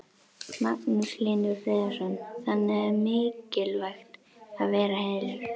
Magnús Hlynur Hreiðarsson: Þannig það er mikilvægt að vera heiðarlegur?